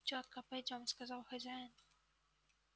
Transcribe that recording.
тётка пойдём сказал хозяин